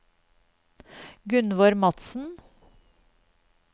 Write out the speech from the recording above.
Gunnvor Madsen